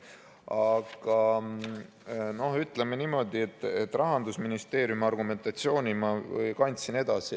Aga ütleme niimoodi, et Rahandusministeeriumi argumentatsiooni ma andsin edasi.